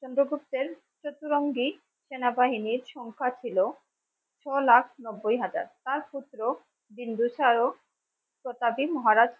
চন্দ্রগুপ্তের চতুরঙ্গী সেনা বাহিনীর সংখ্যা ছিল ছ লাখ নব্বই হাজার তার পুত্র বিন্দুসারও শতাধি মহারাজ হন ।